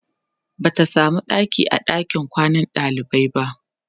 Bata samu ɗaki a ɗakin kwanan ɗalibai ba